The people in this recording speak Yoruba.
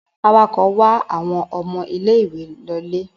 Awakọ̀ wa àwọn ọmọ ilé-ìwé lọlé?